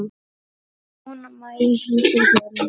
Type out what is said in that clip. Jóna Maja, Hildur og Þórunn.